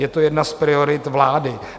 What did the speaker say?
Je to jedna z priorit vlády.